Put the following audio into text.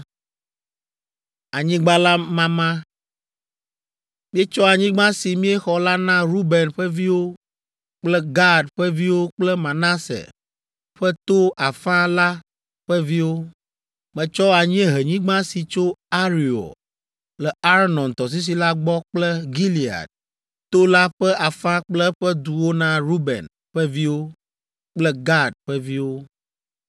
Míetsɔ anyigba si míexɔ la na Ruben ƒe viwo kple Gad ƒe viwo kple Manase ƒe to afã la ƒe viwo. Metsɔ anyiehenyigba si tso Areor le Arnon tɔsisi la gbɔ kple Gilead to la ƒe afã kple eƒe duwo na Ruben ƒe viwo kple Gad ƒe viwo.